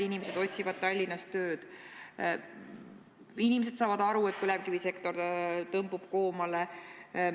Inimesed otsivad tööd Tallinnas, sest nad saavad aru, et põlevkivisektor tõmbub koomale.